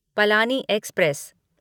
Palani express